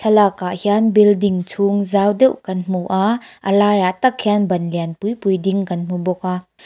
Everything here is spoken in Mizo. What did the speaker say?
thlalakah hian building chung zau deuh kan hmu a a laiah tak hian ban lian pui pui ding kan hmu bawk a.